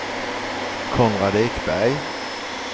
Konrad Ekberg